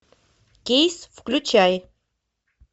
кейс включай